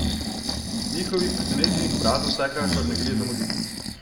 Njihovih presenečenih obrazov vsekakor ne gre zamuditi!